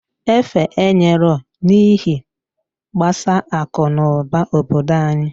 Efe enyeroo n'ihe gbasa aku n'uba obodo anyị.